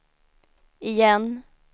igen